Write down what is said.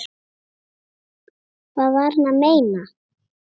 Hvað var hann að meina?